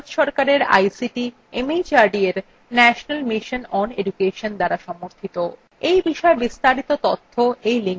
এটি ভারত সরকারের ict mhrd এর national mission on education দ্বারা সমর্থিত